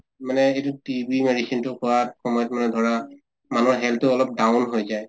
মানে এইটো TB medicine টো খোৱা সময়ত মানে ধৰা মানুহৰ health টো অলপ down হৈ যায়